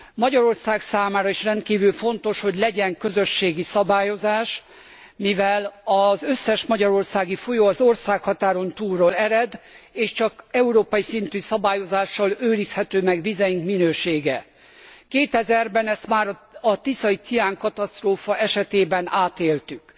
Magyarország számára is rendkívül fontos, hogy legyen közösségi szabályozás, mivel az összes magyarországi folyó az országhatáron túlról ered, és csak európai szintű szabályozással őrizhető meg vizeink minősége. 2000 ben ezt már a tiszai ciánkatasztrófa estében átéltük.